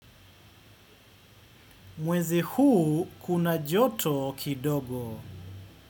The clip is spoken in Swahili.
Mwezi huu kuna joto kidogo.